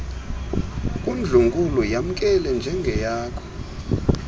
kundlunkulu yamkele njengeyakho